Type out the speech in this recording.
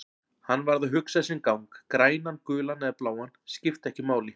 Hann varð að hugsa sinn gang, grænan, gulan eða bláan, skipti ekki máli.